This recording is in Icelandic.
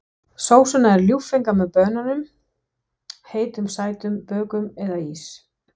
Sósurnar eru ljúffengar með banönum, heitum sætum bökum eða ís.